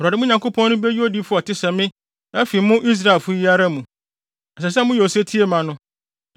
Awurade, mo Nyankopɔn no, beyi odiyifo a ɔte sɛ me afi mo Israelfo yi ara mu. Ɛsɛ sɛ moyɛ osetie ma no.